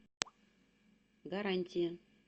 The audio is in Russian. гарантия